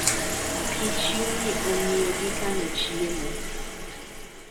Kichyo ni ong'iyo gi kano chiemo.